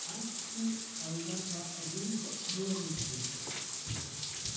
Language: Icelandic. Hann ætti að verða rithöfundur!